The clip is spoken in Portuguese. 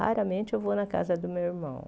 Raramente eu vou na casa do meu irmão.